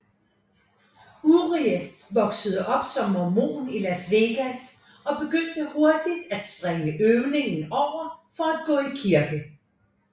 Urie voksede op som mormon i Las Vegas og begyndte hurtigt at springe øvning over for at gå i kirke